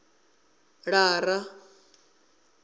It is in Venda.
lara